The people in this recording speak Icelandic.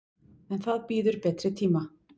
En það bíður betri tíma.